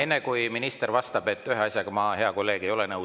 Enne kui minister vastab: ühe asjaga, hea kolleeg, ma ei ole nõus.